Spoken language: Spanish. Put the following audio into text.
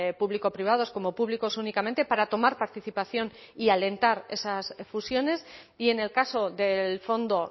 público privados como públicos únicamente para tomar participación y alentar esas fusiones y en el caso del fondo